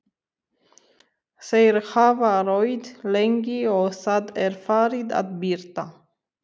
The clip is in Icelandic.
Þeir hafa róið lengi og Það er farið að birta.